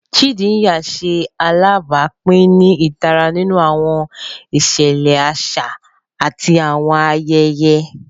Chindaya ṣe alabapin ni itara ninu awọn iṣẹlẹ aṣa ati awọn ayẹyẹ.